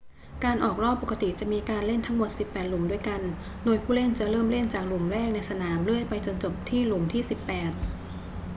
การออกรอบปกติจะมีการเล่นทั้งหมดสิบแปดหลุมด้วยกัน โดยผู้เล่นจะเริ่มเล่นจากหลุมแรกในสนามเรื่อยไปจนจบที่หลุมที่สิบแปด